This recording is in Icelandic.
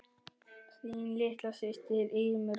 Þín litla systir, Irmý Rós.